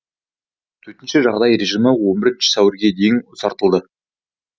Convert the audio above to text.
төтенше жағдай режимі он бірінші сәуірге дейін ұзартылды